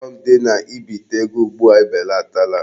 Ọghọm dị na ibite ego ugbua ebelatala.